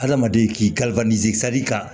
Adamaden k'i kalifa d'i kan